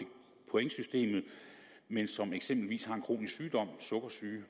pointsystemet men som eksempelvis har en kronisk sygdom sukkersyge